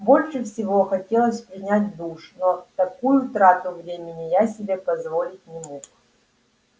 больше всего хотелось принять душ но такую трату времени я себе позволить не мог